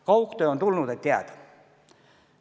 Kaugtöö on tulnud, et jääda.